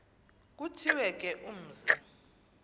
kuthiwe ke umzi